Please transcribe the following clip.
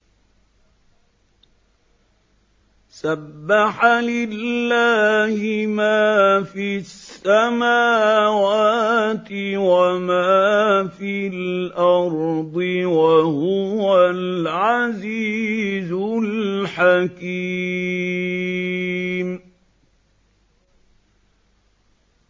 سَبَّحَ لِلَّهِ مَا فِي السَّمَاوَاتِ وَمَا فِي الْأَرْضِ ۖ وَهُوَ الْعَزِيزُ الْحَكِيمُ